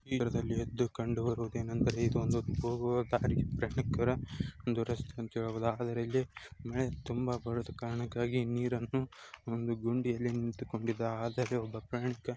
ಈ ದೃಶ್ಯದಲ್ಲಿ ಎದ್ದು ಕಂಡುಬರುವುದೇನೆಂದರೆ